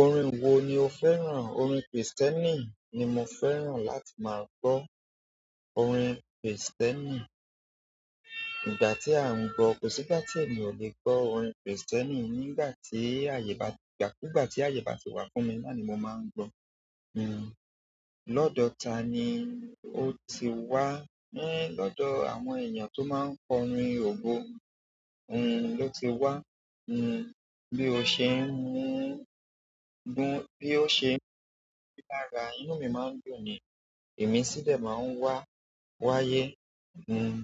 Orin wo ni o fẹ́ràn? Orin Kristẹ́nì ni mo fẹ́ràn láti máa gbọ́. Orin Kristẹ́nì, ìgbà tí à ń gbọ́, kò sí ìgbà tí èmi ò lè gbọ́ orin Kristẹ́nì. Nígbà tí àyè bá gbà, nígbà tí àyè bá ti wà fún mi, nooni mo máa ń gbọ́. Hmm, lọ́dọ̀ ta ni o ti wá? Hmm, lọ́dọ̀ àwọn èèyàn tó máa ń kọrin ògo, hmm, ló ti wá. Hmm, bí o ṣe ń mú, bí ó ṣe ń mú mí lára, inú mi máa ń dùn ni, ìmísí de maa n wáyé hmm,